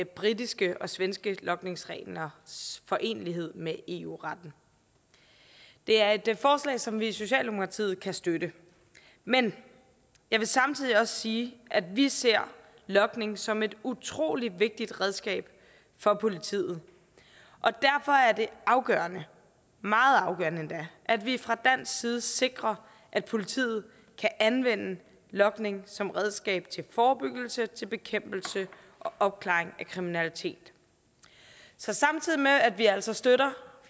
britiske og svenske logningsreglers forenelighed med eu retten det er et forslag som vi i socialdemokratiet kan støtte men jeg vil samtidig sige at vi ser logning som et utrolig vigtigt redskab for politiet og derfor er det afgørende meget afgørende endda at vi fra dansk side sikrer at politiet kan anvende logning som redskab til forebyggelse bekæmpelse og opklaring af kriminalitet så samtidig med at vi altså støtter